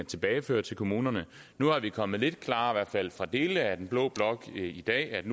tilbageføre til kommunerne nu er det kommet lidt klarere hvert fald fra dele af den blå blok i dag at det